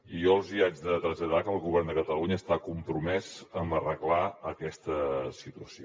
i jo els hi haig de traslladar que el govern de catalunya està compromès amb arreglar aquesta situació